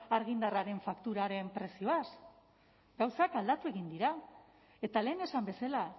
argindarraren fakturaren prezioaz gauzak aldatu egin dira eta lehen esan bezala